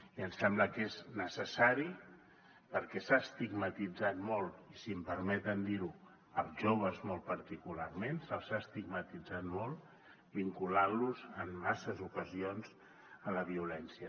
i em sembla que és necessari perquè s’ha estigmatitzat molt i si em permeten dir ho els joves molt particularment se’ls ha estigmatitzat molt vinculant los en masses ocasions a la violència